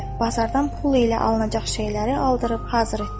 Bazardan pul ilə alınacaq şeyləri aldırıb hazır etdi.